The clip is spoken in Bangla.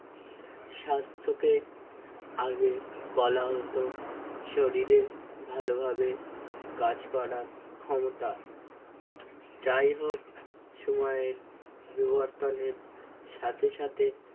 স্বাস্থ্য কে আগে বলা হত শরীরের ভালোভাবে কাজ করার ক্ষমতা যাই হোক সময়ের বিবর্তনের সাথে সাথে